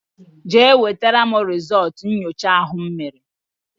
Jee wetara m rizultú nyocha ahụ m mere!!!